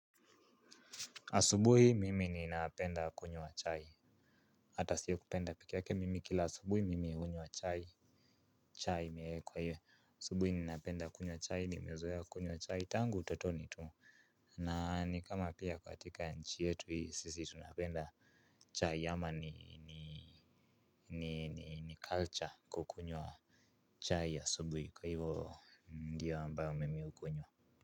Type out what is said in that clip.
Asubuhi mimi ninapenda kunywa chai. Hata siyo kupenda pike yake mimi kila asubuhi mimi hunywa chai. Chai imeekwa hiyo asubuhi ninapenda kunywa chai nimezoa kunywa chai tangu utotoni tu. Na ni kama pia katika nchi yetu hii sisi tunapenda chai ama ni culture kukunywa chai asubuhi kwa hivyo ndio ambayo mimi hukunywa.